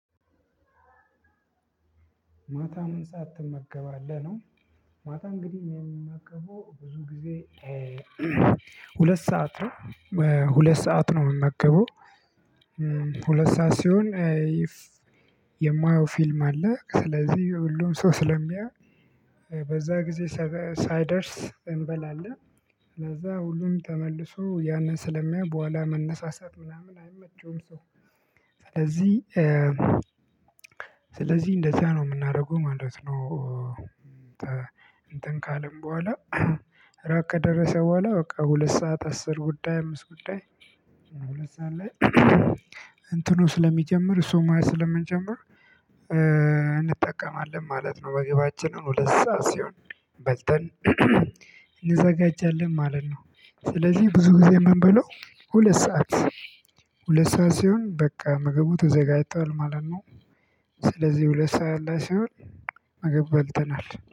ማታ ምን ሰዓት ትመገባለህ ነው? ማታ እንግዲህ እኔ የምመገበው ብዙ ጊዜ ሁለት ሰዓት ነው። ሁለት ሰዓት ነው የምመገበው። ሁለት ሰዓት ሲሆን የማየው ፊልም አለ ስለዚህ ሁሉም ሰው ስለሚያየው በዛ ጊዜ ሳይደርስ እንበላለን። ስለዛ ሁሉም ተመልሶ ያንን ስለሚያይ በኋላ መነሳሳት ምናምን አይመቸውም ሰው ስለዚህ እንደዚያ ነው የምናደርገው ማለት ነው። እንትን ካልን በኋላ ራት ከደረሰ በኋላ በቃ ሁለት ሰዓት አስር ጉዳይ አምስት ጉዳይ። ሁለት ሰዓት ላይ እንትኑ ስለሚጀምር እሱ ማየት ስለምንጀምር እንጠቀማለን ማለት ነው። ምግባችንን ሁለት ሰዓት ሲሆን በልተን እንዘጋጃለን ማለት ነው። ስለዚህ ብዙ ጊዜ የምንበላው ሁለት ሰዓት ሁለት ሰዓት ሲሆን በቃ ምግቡ ተዘጋጅቷል ማለት ነው። ስለዚህ ሁለት ሰዓት ላይ ሲሆን ምግብ በልተናል